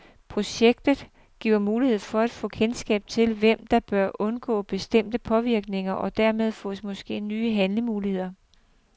Projektet giver mulighed for at få kendskab til, hvem der bør undgå bestemte påvirkninger, og dermed fås måske nye handlemuligheder.